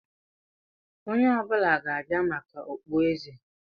Onye ọ bụla ga-abịa maka okpueze!